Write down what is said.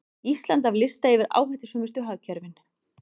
Ísland af lista yfir áhættusömustu hagkerfin